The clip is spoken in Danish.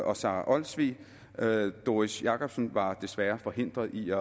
og sara olsvig doris jakobsen var desværre forhindret i